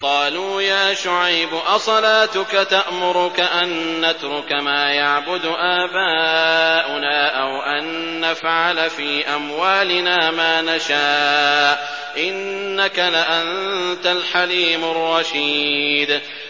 قَالُوا يَا شُعَيْبُ أَصَلَاتُكَ تَأْمُرُكَ أَن نَّتْرُكَ مَا يَعْبُدُ آبَاؤُنَا أَوْ أَن نَّفْعَلَ فِي أَمْوَالِنَا مَا نَشَاءُ ۖ إِنَّكَ لَأَنتَ الْحَلِيمُ الرَّشِيدُ